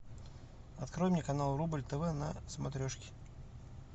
открой мне канал рубль тв на смотрешке